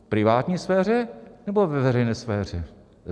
V privátní sféře, nebo ve veřejné sféře?